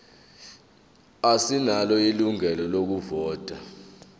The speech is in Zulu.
asinalo ilungelo lokuvota